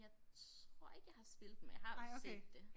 Jeg tror ikke jeg har spillet men jeg har set det